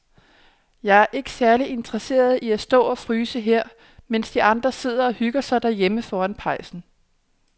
Jeg er ikke særlig interesseret i at stå og fryse her, mens de andre sidder og hygger sig derhjemme foran pejsen.